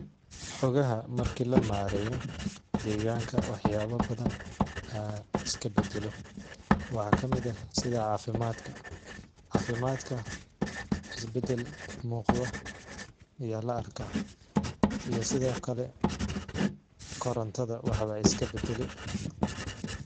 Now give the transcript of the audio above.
Xogaha markii la mareeyo, degaanka waxyaabo badan aa iska badalo .Waxaa kamid ah sida cafimaadka ,cafimaadka is badel muuqdo yaa la arkaa iyo sidokale korontada waxbaa iska badale .